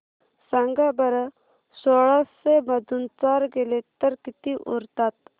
सांगा बरं सोळाशे मधून चार गेले तर किती उरतात